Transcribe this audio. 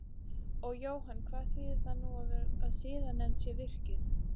Og Jóhann hvað þýðir það nú að siðanefnd sé virkjuð?